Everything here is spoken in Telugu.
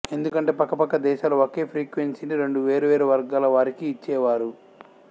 ఎందుకంటే పక్క పక్క దేశాలు ఒకే ఫ్రీక్వెన్సీని రెండు వేరు వేరు వర్గాల వారికి ఇచ్చేవారు